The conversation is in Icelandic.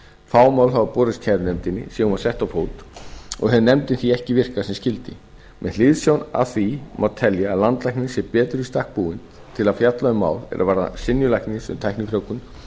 fá mál hafa borist kærunefndinni síðan hún var sett á fót og hefur nefndin því ekki virkað sem skyldi með hliðsjón af því má telja að landlæknir sé betur í stakk búinn til að fjalla um mál er fjalla um synjun læknis um tæknifrjóvgun